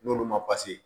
N'olu ma